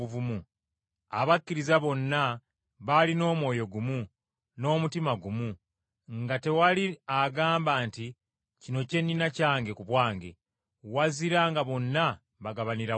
Abakkiriza bonna baalina omwoyo gumu n’omutima gumu; nga tewali agamba nti kino kye nnina kyange ku bwange, wazira nga bonna bagabanira wamu.